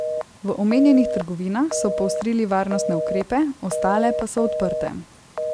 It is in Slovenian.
V omenjenih trgovinah so poostrili varnostne ukrepe, ostale pa so odprte.